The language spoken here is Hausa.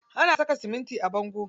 Ana saka siminti a bango.